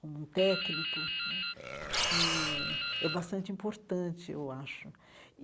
como um técnico né, é é bastante importante, eu acho.